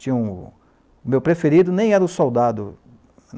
Tinha um... O meu preferido nem era o soldado.